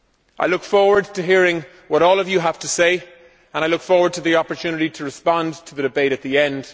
I look forward to hearing what all of you have to say and I look forward to the opportunity to respond to the debate at the end.